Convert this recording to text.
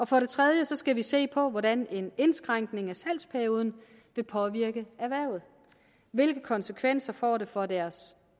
for det tredje skal vi se på hvordan en indskrænkning af salgsperioden vil påvirke erhvervet hvilke konsekvenser får det for deres